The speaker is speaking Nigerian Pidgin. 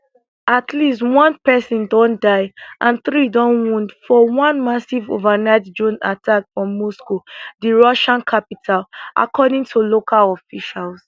at least one pesin don die and three don wound for one massive overnight drone attack for moscow di russia capital according to local officials